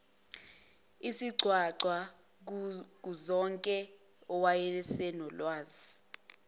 isigcwagcwa kuzonke owayesenolwazi